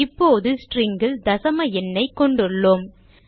இப்போது string ல் தசம எண்ணைக் கொண்டுள்ளோம்